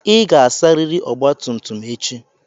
Ị ga-asarịrị ọgba tum tum m echi.